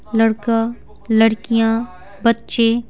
लड़का लड़कियां बच्चे--